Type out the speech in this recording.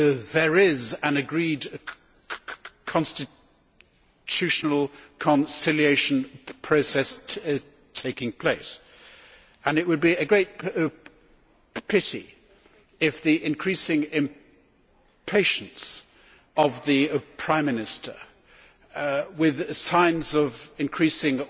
There is an agreed constitutional conciliation process taking place, and it would be a great pity if the increasing impatience of the Prime Minister with signs of increasing